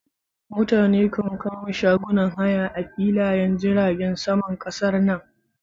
Mutane kan kama shagunan haya a filayen jiragen saman kasar nan.